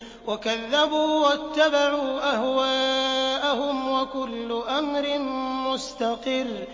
وَكَذَّبُوا وَاتَّبَعُوا أَهْوَاءَهُمْ ۚ وَكُلُّ أَمْرٍ مُّسْتَقِرٌّ